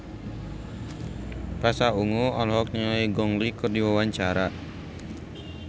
Pasha Ungu olohok ningali Gong Li keur diwawancara